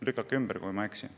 Lükake ümber, kui ma eksin.